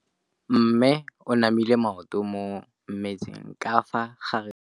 Mme o namile maoto mo mmetseng ka fa gare ga lelapa le ditsala tsa gagwe.